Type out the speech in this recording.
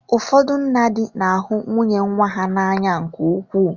Ụfọdụ nna di na ahụ nwunye nwa ha n'anya nke ukwuu.